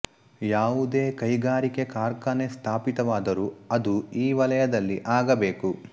ಯಾವುದೇ ಕೈಗಾರಿಕೆ ಕಾರ್ಖಾನೆ ಸ್ಥಾಪಿತವಾದರೂ ಅದು ಈ ವಲಯದಲ್ಲಿ ಆಗಬೇಕು